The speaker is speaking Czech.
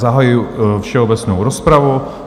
Zahajuji všeobecnou rozpravu.